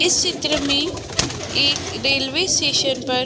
इस चित्र में एक रेल्वे स्टेशन पर --